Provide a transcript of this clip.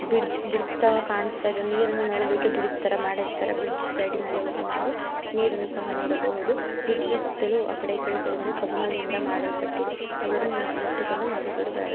Bridge bridge ತವ ಕಾಣಸ್ತಾ ಇದೆ ನೀರನ್ನು ನೋಡೋದಿಕ್ಕೆ ಬ್ರಿಡ್ಜ್ ತರ ಮಾಡಿರ್ತಾರೆ ಬ್ರಿಡ್ಜ್ ಸೈಡಿನಲ್ಲಿ ಹೋಗಿ ನಾವು ನೀರನ್ನು ಸಹ ನೋಡಬಹುದು ಬ್ರಿಡ್ಜ್ ನ ಸುತ್ತಲೂ ಆಕಡೆ ಇಕಡೆ ಸೈಡಿನಲ್ಲಿ ಕಬ್ಬಣದಿಂದ ಮಾಡಲ್ಪಟ್ಟಿದೆ ಅದರನ್ನು ಇಟ್ಟುಕೊಂಡು ನೋಡಿಕೊಂಡು ಬರಬೇಕು.